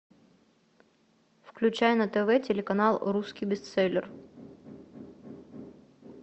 включай на тв телеканал русский бестселлер